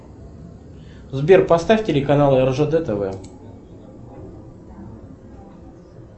сбер поставь телеканал ржд тв